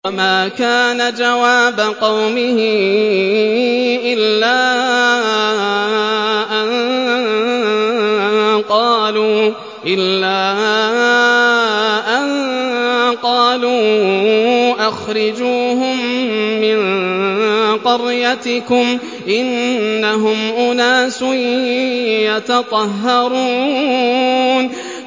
وَمَا كَانَ جَوَابَ قَوْمِهِ إِلَّا أَن قَالُوا أَخْرِجُوهُم مِّن قَرْيَتِكُمْ ۖ إِنَّهُمْ أُنَاسٌ يَتَطَهَّرُونَ